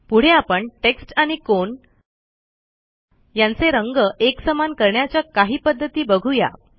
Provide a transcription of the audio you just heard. पुढे आपण टेक्स्ट आणि कोन यांचे रंग एकसमान करण्याच्या काही पध्दती बघू या